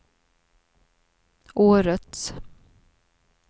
årets